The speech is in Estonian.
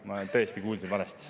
Ma tõesti kuulsin valesti.